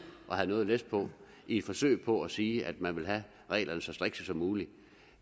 at have noget læs på i et forsøg på at sige at man vil have reglerne så strikse som muligt